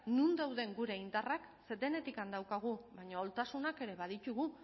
non dauden gure indarrak ze denetik daukagu baina ahultasunak ere baditugu